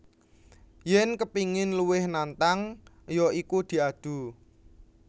Yèn kepingin luwih nantang ya iku diadu